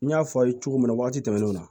N y'a fɔ aw ye cogo min na waati tɛmɛnenw na